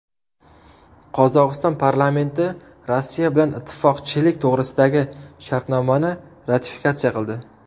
Qozog‘iston parlamenti Rossiya bilan ittifoqchilik to‘g‘risidagi shartnomani ratifikatsiya qildi.